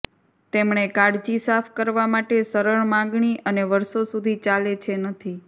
તેમણે કાળજી સાફ કરવા માટે સરળ માગણી અને વર્ષો સુધી ચાલે છે નથી